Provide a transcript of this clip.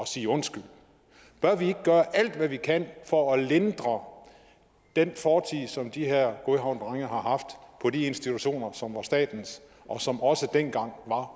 sige undskyld bør vi ikke gøre alt hvad vi kan for at lindre den fortid som de her godhavnsdrenge har haft på de institutioner som var statens og som også dengang var